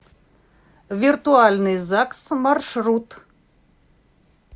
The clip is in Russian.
виртуальный загс маршрут